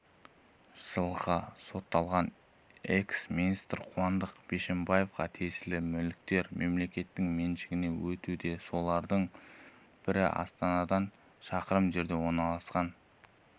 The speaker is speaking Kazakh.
жылға сотталған экс-министр қуандық бишімбаевқа тиесілі мүліктер мемлекеттің меншігіне өтуде солардың бірі астанадан шақырым жерде орналасқан